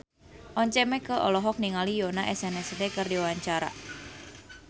Once Mekel olohok ningali Yoona SNSD keur diwawancara